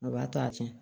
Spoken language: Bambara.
A b'a to a fɛ